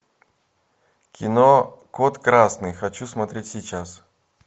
кино код красный хочу смотреть сейчас